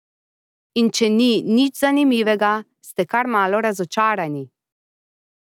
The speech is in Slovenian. In če ni nič zanimivega, ste kar malo razočarani.